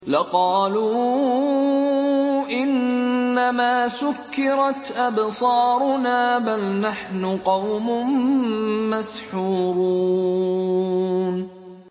لَقَالُوا إِنَّمَا سُكِّرَتْ أَبْصَارُنَا بَلْ نَحْنُ قَوْمٌ مَّسْحُورُونَ